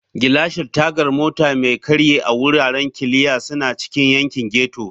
Gilashin Tagar Mota Mai Karye a Wuraren Kiliya suna cikin yankin ghetto.